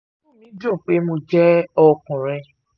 inú mi dùn pé mo jẹ́ ọkùnrin